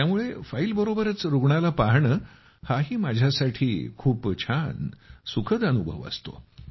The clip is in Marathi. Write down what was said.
त्यामुळे फाईलबरोबरच रूग्णाला पहाणे हाही माझ्यासाठी खूप छान सुखद अनुभव असतो